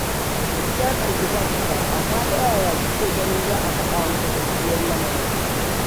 Duk ya tsargi kansa fa, amma ta yaya kike ganin za'a faɗa masa gaskiyar lamarin